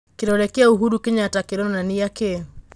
Kĩrore gĩa ũhuru Kĩnyata kĩronania kĩĩ?